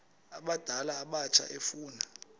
abadala abatsha efuna